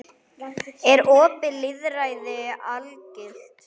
Er opið lýðræði algilt?